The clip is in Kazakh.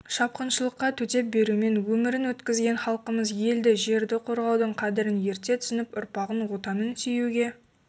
шапқыншылыққа төтеп берумен өмірін өткізген халқымыз елді жерді қорғаудың қадірін ерте түсініп ұрпағын отанын сүюге